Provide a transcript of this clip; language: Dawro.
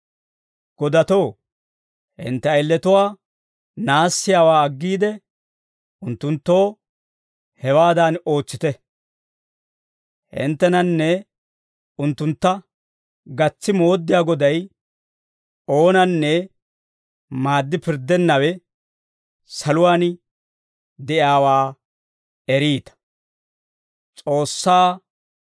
Godatoo, hintte ayiletuwaa naassiyaawaa aggiide, unttunttoo hewaadan ootsite; hinttenanne unttuntta gatsi mooddiyaa Goday, oonanne maaddi pirddennawe, saluwaan de'iyaawaa eriita.